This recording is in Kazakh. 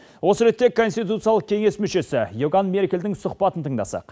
осы ретте конституциялық кеңес мүшесі иоган меркельдің сұхбатын тыңдасақ